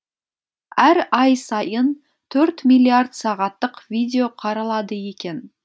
әр ай сайын төрт миллиард сағаттық видео қаралады екен